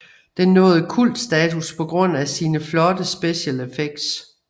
Den nåede kultstatus på grund af sine flotte special effects